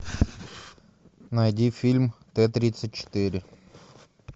найди фильм т тридцать четыре